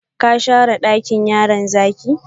Ka share dakin yaron zaki?